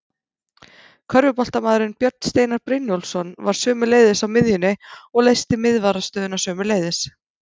Körfuboltamaðurinn Björn Steinar Brynjólfsson var sömuleiðis á miðjunni og leysti miðvarðarstöðuna sömuleiðis.